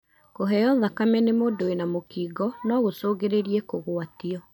Kũheo thakame nĩ mũndũ wina mũkingo no gũcungĩrĩrie kugwatio.